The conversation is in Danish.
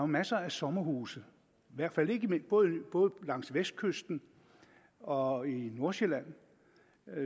masser af sommerhuse både langs vestkysten og i nordsjælland